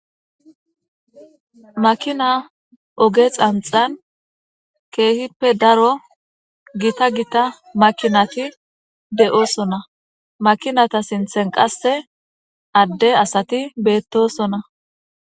makina oge xanxan keehippe daro gita gita makinati de7oosona makinata sinthen qasse adde asati beettosona